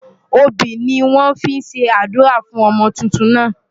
Obì ni wọ́n fi ṣe àdúrà fún ọmọ tuntun náà.